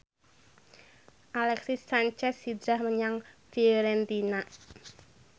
Alexis Sanchez hijrah menyang Fiorentina